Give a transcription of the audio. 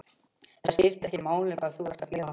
Það skiptir ekki máli hvað þú ert að gera.